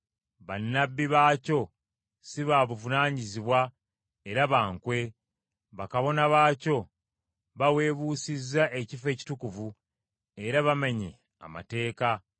Bannabbi baakyo si ba buvunaanyizibwa era ba nkwe; bakabona baakyo baweebuusizza ekifo ekitukuvu, era bamenya amateeka.